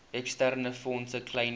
eksterne fondse kleinvee